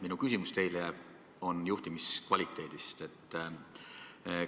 Minu küsimus teile on juhtimise kvaliteedi kohta.